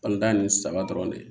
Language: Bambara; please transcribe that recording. An da ni saba dɔrɔn de